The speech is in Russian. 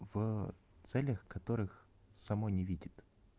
в целях которых само не видит